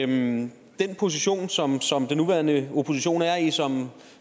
den position som som den nuværende opposition er i som